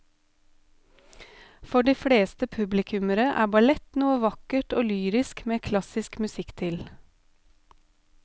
For de fleste publikummere er ballett noe vakkert og lyrisk med klassisk musikk til.